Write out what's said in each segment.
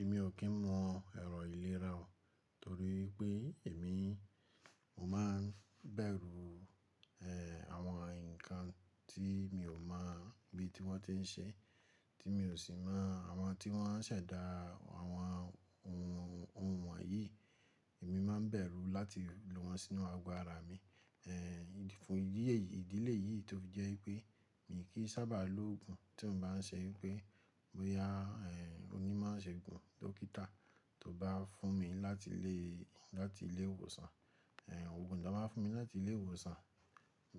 Èmi ò kí ń mọ èrọ ìlera o torí pé èmi ò mán bẹ̀rù, ẹ́, àwọn nǹkan tí mi ò mọ̀ bí tí wọn ti n ṣe, tí mi ò sì mọ àwọn tí wọ́n n ṣẹ̀dá àwọn ohun, ohun wọ̀nyí. Èmi má n bẹ̀rù láti lo wọn sínú ago ara mi, ẹ́, fún ìdí èyí, ìdílé yìí tó jẹ́ pé mi kì í sábà lo òògùn tí o bá n ṣe wípé bóyá, ẹ́, onímọ̀ṣeòògùn, dókítà tó bá fún mi láti ilé, láti ilé ìwòsàn. Ẹ̀, òògùn tó máa fún mi láti ilé ìwòsàn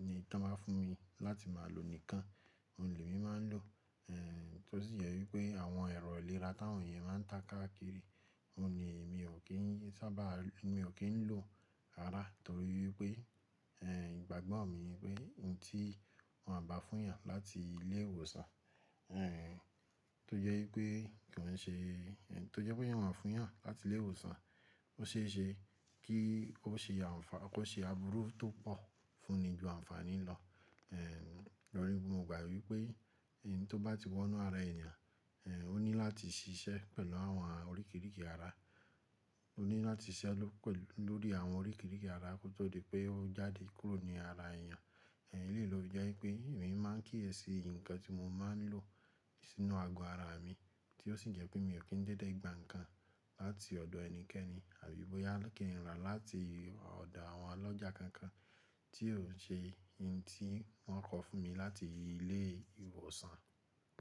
ni tí wọ́n máa fún mi láti máa lo nìkan. Òun le mi máa n lò, ẹ́, tó sì jẹ́ wípé àwọn èrò ìlera táwọn yẹn máa ń ta káàkiri, òun ni èmi ò kí ń sábà, èmi ò kí ń lò ara torí wípé, ẹ́, ìgbàgbọ́ mi wípé ohun tí wọ́n bá fún ìyàn láti ilé ìwòsàn, ẹ́, tó jẹ́ wípé kí wọn ṣe, ẹ́, tó jẹ́ pé yíyàn fún ìyàn láti ilé ìwòsàn, ó ṣe é ṣe kí ó ṣe àǹfààní, kó ṣe àbúrú tó pọ̀ fún ni ju àǹfààní lọ. Ẹ̀, lórí bú, mo gbà wípé ohun tó bá ti wọ inú ara ènìyàn, ẹ́, ó ní láti ṣiṣẹ́ pẹ̀lú àwọn oríkirìkì ara. Ó ní láti ṣiṣẹ́ ló pẹ̀ lórí àwọn oríkirìkì ara kó tó di pé ó jáde kúrò ní ara ènìyàn. Ẹ̀, lè lóòjọ́ wípé èmi máa ń kíyèsi nǹkan tí mo máa n lò sínú ago ara mi tí ó sì jẹ́ pé mi ò kí ń dédé gba nǹkan láti ọ̀dọ̀ ẹnikẹ́ni àbí bóyá kí ń rà láti ọ̀dọ̀ àwọn ọlọ́jà kankan tí ò ṣe ohun tí wọ́n kọ fún mi láti ilé ìwòsàn.